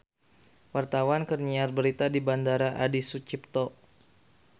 Wartawan keur nyiar berita di Bandara Adi Sucipto